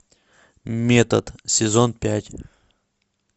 метод сезон пять